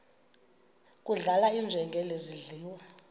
kudlala iinjengele zidliwa